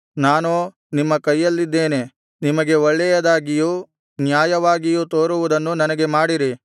ನಾನೋ ನಿಮ್ಮ ಕೈಯಲ್ಲಿದ್ದೇನಲ್ಲಾ ನಿಮಗೆ ಒಳ್ಳೆಯದಾಗಿಯೂ ನ್ಯಾಯವಾಗಿಯೂ ತೋರುವುದನ್ನು ನನಗೆ ಮಾಡಿರಿ